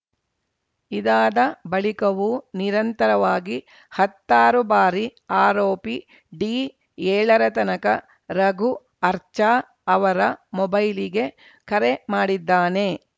ಇದಾದ ಬಳಿಕವೂ ನಿರಂತರವಾಗಿ ಹತ್ತಾರು ಬಾರಿ ಆರೋಪಿ ಡಿಏಳರ ತನಕ ರಘು ಅರ್ಚಾ ಅವರ ಮೊಬೈಲ್‌ಗೆ ಕರೆ ಮಾಡಿದ್ದಾನೆ